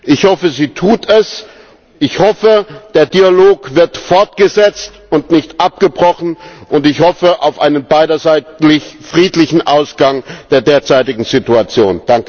Ich hoffe, sie tut es, ich hoffe, der Dialog wird fortgesetzt und nicht abgebrochen, und ich hoffe auf einen beiderseitig friedlichen Ausgang der derzeitigen Situation.